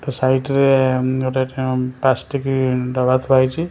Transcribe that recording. Side ରେ ଗୋଟେ plastic ଡବା ଥୁଆ ହେଇଛି ।